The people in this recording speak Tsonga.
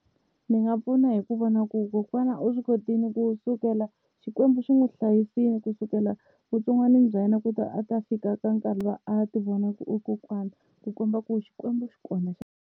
Ndzi nga pfuna hi ku vona ku kokwana u swi kotile ku sukela Xikwembu xi n'wi hlayisile ku sukela vutsongwanini bya yena ku ta a ta fika ka nkarhi luwa a ti vona ku u kokwana ku komba ku Xikwembu xi kona.